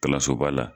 Kalanso ba la